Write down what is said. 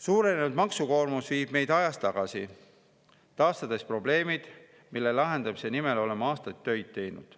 Suurenenud maksukoormus viib meid ajas tagasi, taastades probleemid, mille lahendamise nimel oleme aastaid tööd teinud.